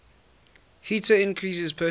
heater increases personal